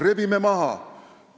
Rebime maha!